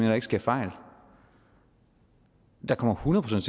der ikke sker fejl der kommer hundrede